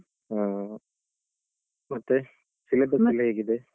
ಆ ಮತ್ತೆ? syllabus ಎಲ್ಲ ಹೇಗಿದೆ?